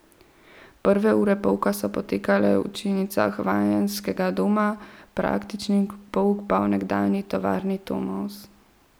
Prve ure pouka so potekale v učilnicah Vajenskega doma, praktični pouk pa v nekdanji tovarni Tomos.